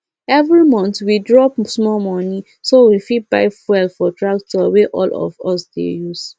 every month we drop small money so we fit buy fuel for tractor wey all of us dey use